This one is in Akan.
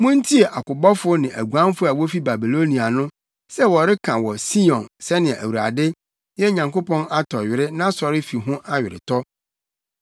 Muntie akobɔfo ne aguanfo a wofi Babilonia no sɛ wɔreka wɔ Sion sɛnea Awurade, yɛn Nyankopɔn atɔ were, nʼasɔrefi ho aweretɔ.